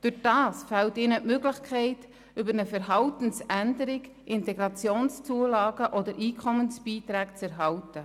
Dadurch fehlt ihnen die Möglichkeit, über eine Verhaltensänderung IZU oder EFB zu erhalten.